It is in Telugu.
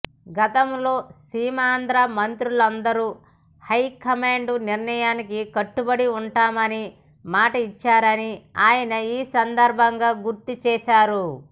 గతంలో సీమాంద్ర మంత్రులందరూ హై కమాండ్ నిర్ణయానికి కట్టుబడి ఉంటామని మాట ఇచ్చారని ఆయన ఈ సందర్భంగా గుర్తు చేశారు